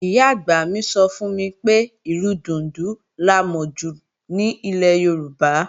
Ìyá-àgbà mi sọ fún mi pé, ìlù dùndún la mọ jù ní ilẹ̀ Yorùbá